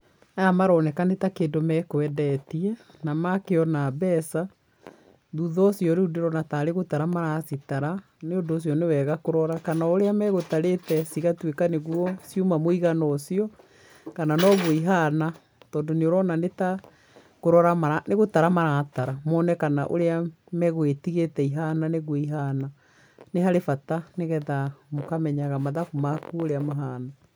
Aya maroneka nĩ ta kĩndũ mekwendetie, na makĩona mbeca, thutha ũcio rĩu ndĩrona tarĩ gũtara maracitara, nĩũndũ ũcio nĩ wega kũrora kana ũrĩa magũtarĩte cigatwĩka nĩguo cĩuma mũigana ũcio, kana noguo ihana, tondũ nĩ ũrona nĩ ta kũrora mara nĩ gũtara maratara mone kana ũrĩa magũgĩtigĩte ihana nĩguo iihana, nĩ harĩ bata nĩgetha mũkamenyaga mathabu maku ũria mahana.